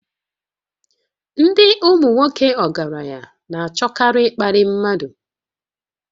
Ndị ụmụnwoke ọgaranya na-achọkarị ịkparị mmadụ